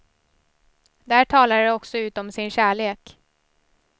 Där talade de också ut om sin kärlek.